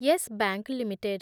Yes Bank limited